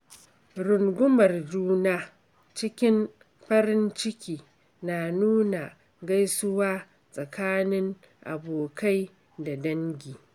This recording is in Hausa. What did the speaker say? Rungumar juna cikin farin ciki na nuna gaisuwa tsakanin abokai da dangi.